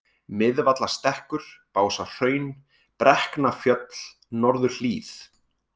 Miðvallastekkur, Básahraun, Brekknafjöll, Norðurhlíð